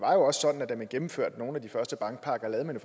også sådan at da man gennemførte nogle af de første bankpakker lavede man